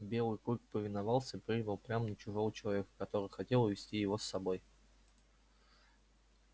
белый клык повиновался и прыгнул прямо на чужого человека который хотел увести его с собой